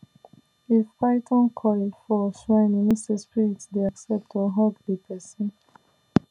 if python coil for shrine e mean say spirit dey accept or hug the person